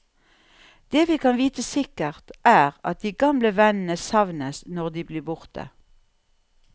Det vi kan vite sikkert, er at de gamle vennene savnes når de blir borte.